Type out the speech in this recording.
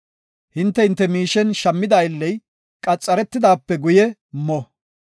Hinte hinte miishen shammida aylley qaxaretidaape guye mo.